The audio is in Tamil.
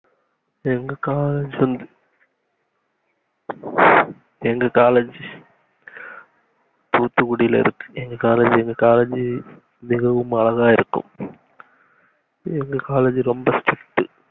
எங்க காலேஜ் சந்து எங்க காலேஜ் தூத்துகுடில இருக்கு எங்க காலேஜ் எங்க காலேஜி மிகவும் அழகா இருக்கும் எங்க காலேஜ் ரொம்ப strict